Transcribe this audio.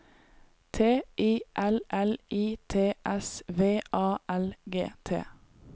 T I L L I T S V A L G T